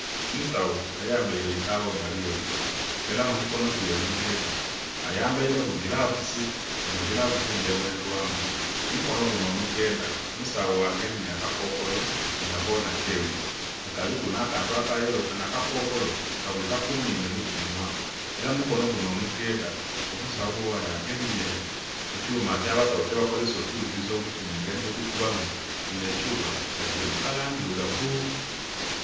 Omusawo ayambaire eitawo nga lyeru era omukono gwe omugodha ayambaire ku gilavusi enho gilavusi nga ebonhelwamu. Omukono gunho omugodha , omusawo agemyemu aka kokolo nga konha keru nga kaliku nha kantu aka yello kanho aka kokolo ka bwika ku nhindho nho ku munhwa era mu mikono gunho omugodha omusawo agemye ekyuma kya baawo kye bakozeza okughulilisa omutima engeri ye gukubamu, kinho ekyuma nga kili mu kala ndhirugavu.